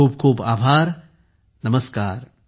खूप खूप आभार नमस्कार